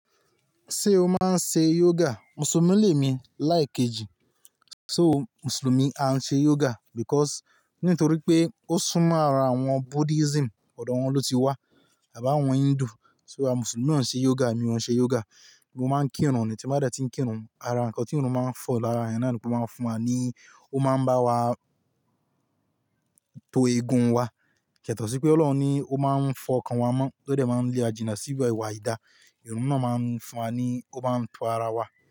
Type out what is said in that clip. Ṣé o máa ń ṣe yoga? Mùsùlùmí lè mí láìkejì. So Mùsùlùmí a ń ṣe yoga because nítorí pé ó sún mọ́ ara àwọn Buddhism, ọ̀dọ̀ wọn ló ti wá àbi àwọn Hindu. So àwọn Mùsùlùmí o ń ṣe yoga, emi o ń ṣe yoga. Mo máa ń kírun nì tí mo bá dẹ̀ tí ń kírun. Ara nnkan tí irun máa ń fọ lára ẹ̀yan náà ni pé ó máa ń fún wa ní, ó máa ń bá wa to egun wa. Kẹ̀tọ̀ sí pé Ọlọ́run ní ó máa ń fọ ọkàn wa mọ́, ó dẹ̀ máa ń lé ajìnà síbẹ̀ ìwà ìdà. Irun náà máa ń fún wa ní, ó máa ń to ara wa.